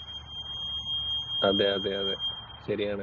അതെയതെ, അതേ. ശരിയാണ്.